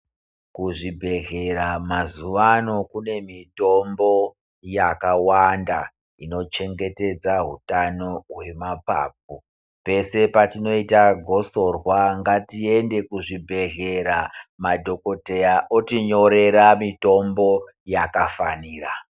Kuzvibhedhlera mazuvano kunemitombo yakawanda inochengetedza hutano hwemapapu. Pese patinoita gosorwa, ngatiende kuzvibhedhlera madhogodheya otinyorera mitombo yakafanira.